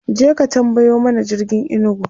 kaje ka tambayo mana jirgin inugu!